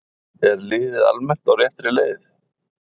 Er liðið almennt á réttri leið?